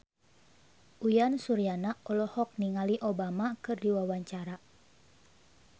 Uyan Suryana olohok ningali Obama keur diwawancara